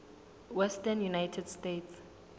western united states